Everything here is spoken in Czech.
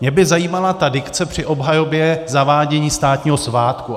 Mě by zajímala ta dikce při obhajobě zavádění státního svátku.